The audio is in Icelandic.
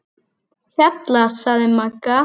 Hjalla, sagði Magga.